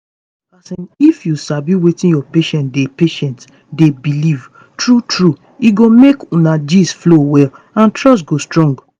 wetin i bin dey think na say some family dem if you sabi fit wan pray or make dem do ritual um before operation dem.